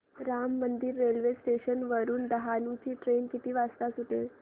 Ram Mandir railway station वरुन डहाणू ची train किती वाजता सुटेल